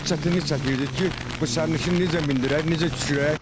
Çox çətinlik çəkirdik ki, bu sərnişini necə mindirək, necə düşürək.